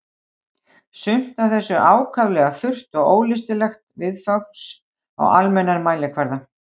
Sumt af þessu ákaflega þurrt og ólystilegt viðfangs á almennan mælikvarða.